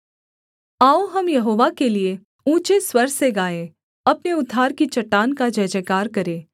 आओ हम यहोवा के लिये ऊँचे स्वर से गाएँ अपने उद्धार की चट्टान का जयजयकार करें